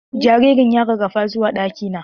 Jaririn ya rarafa zuwa ɗaki na.